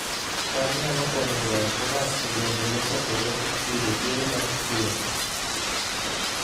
cham nyalo konyo joot modak e gwenge mosokore yudo chiemo mapiyo